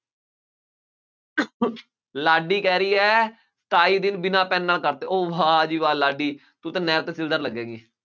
ਲਾਡੀ ਕਹਿ ਰਹੀ ਹੈ, ਸਤਾਈ ਦਿਨ ਬਿਨਾ ਪੈੱਨ ਨਾਲ ਕਰਤੇ, ਉਹ ਵਾਹ ਜੀ ਵਾਹ ਲਾਡੀ ਤੂੰ ਤਾਂ ਨਾਇਬ ਤਹਿਸੀਲਦਾਰ ਲੱਗੇਗੀਂ।